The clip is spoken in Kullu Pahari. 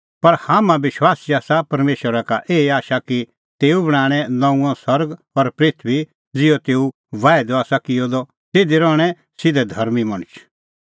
पर हाम्हां विश्वासी आसा परमेशरा का एही आशा कि तेऊ बणांणैं नऊंअ सरग और पृथूई ज़िहअ तेऊ बाहिदअ आसा किअ द तिधी रहणैं सिधै धर्मीं मणछ